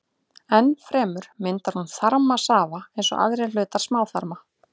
Enn fremur myndar hún þarmasafa eins og aðrir hlutar smáþarma.